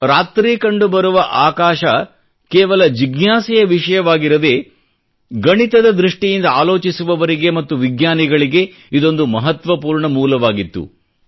ರಾತ್ರಿ ಕಂಡುಬರುವ ಆಕಾಶ ಕೇವಲ ಜಿಜ್ಞಾಸೆಯ ವಿಷಯವಾಗಿರದೇ ಗಣಿತದ ದೃಷ್ಟಿಯಿಂದ ಆಲೋಚಿಸುವವರಿಗೆ ಮತ್ತು ವಿಜ್ಞಾನಿಗಳಿಗೆ ಇದೊಂದು ಮಹತ್ವಪೂರ್ಣ ಮೂಲವಾಗಿತ್ತು